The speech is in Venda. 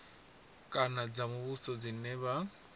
kana dza muvhuso dzine vha